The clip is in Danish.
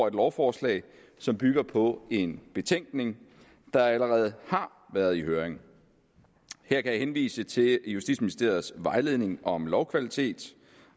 et lovforslag som bygger på en betænkning der allerede har været i høring her kan jeg henvise til justitsministeriets vejledning om lovkvalitet